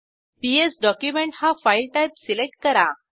PS document हा file type select करा